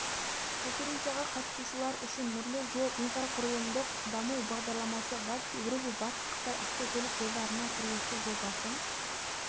конференцияға қатысушылар үшін нұрлы жол инфрақұрылымдық даму бағдарламасы батыс еуропа батыс қытай автокөлік жолдарының құрылысы жобасын